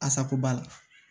Asako b'a la